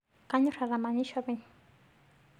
Kanyor atamanyisho apeny